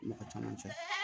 Mɔgɔ caman cɛ